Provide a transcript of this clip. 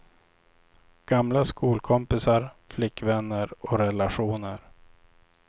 Gamla skolkompisar, flickvänner och relationer.